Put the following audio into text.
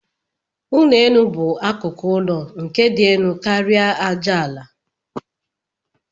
Ụlọ elu bu akụkụ ụlọ nke di elu karia aja ala.